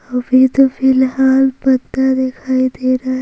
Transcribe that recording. अभी तो फिलहाल पता दिखाई दे रहा ।